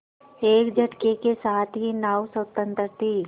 एक झटके के साथ ही नाव स्वतंत्र थी